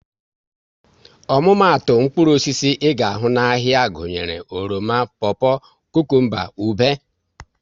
Omumatu mkpụrụ osisi ị ga ahụ n'ahia gụnyere oroma, popo, kukumba, ube